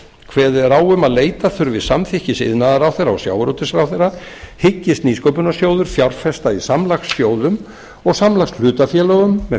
kveðið er á um að leita þurfi samþykkis iðnaðarráðherra og sjávarútvegsráðherra hyggist nýsköpunarsjóður fjárfesta í samlagssjóðum og samlagshlutafélögum með